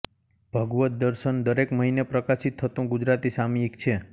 ભગવદ્ દર્શન દરેક મહિને પ્રકાશીત થતુ ગુજરાતી સામાયિક છે